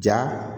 Ja